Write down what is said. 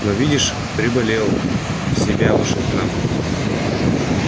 но видишь переболел в себя вышел к нам